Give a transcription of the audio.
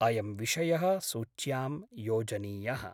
अयं विषयः सूच्यां योजनीयः।